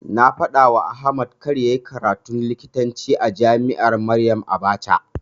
Na faɗawa Ahmad kada yayi karatun likitanci a jami'ar Maryam Abacha.